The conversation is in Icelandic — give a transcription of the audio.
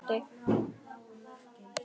Allt með kossi vakti.